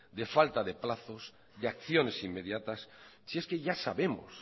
de falta de plazos de acciones inmediatas si es que ya sabemos